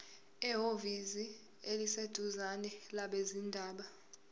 ehhovisi eliseduzane labezindaba